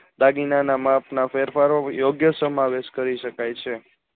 દાગીનાના માપના ફેરફારો યોગ્ય સમાવેશ કરી શકાય છે